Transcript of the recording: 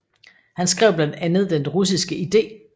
Han skrev blandt andet Den russiske ide